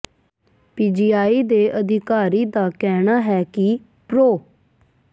PGI ਦੇ ਇੱਕ ਅਧਿਕਾਰੀ ਦਾ ਕਹਿਣਾ ਹੈ ਕਿ ਪ੍ਰੋ